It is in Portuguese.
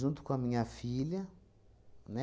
com a minha filha, né?